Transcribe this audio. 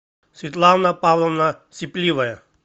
светлана павловна сипливая